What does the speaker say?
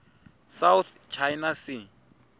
south china sea